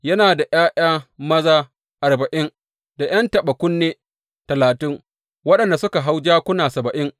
Yana da ’ya’ya maza arba’in da ’yan taɓa kunne talatin, waɗanda suka hau jakuna saba’in.